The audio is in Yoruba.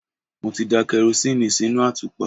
Mo ti da karosíìnì sínú àtùpà.